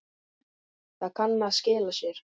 Það kann að skila sér.